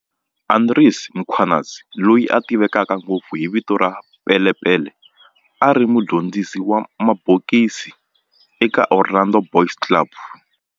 Andries Mkhwanazi, loyi a tiveka ngopfu hi vito ra"Pele Pele", a ri mudyondzisi wa mabokisi eka Orlando Boys Club